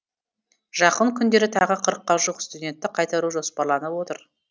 жақын күндері тағы қырыққа жуық студентті қайтару жоспарланып отыр